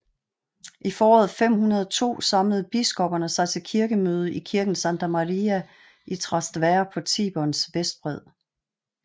I foråret 502 samlede biskopperne sig til kirkemøde i kirken Santa Maria in Trastevere på Tiberens vestbred